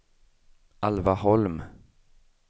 Alva Holm